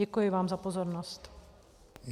Děkuji vám za pozornost.